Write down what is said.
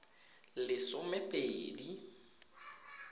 lesomepedi